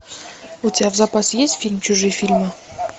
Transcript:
у тебя в запасе есть фильм чужие фильмы